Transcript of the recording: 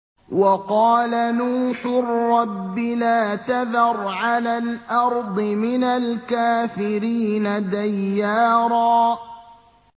وَقَالَ نُوحٌ رَّبِّ لَا تَذَرْ عَلَى الْأَرْضِ مِنَ الْكَافِرِينَ دَيَّارًا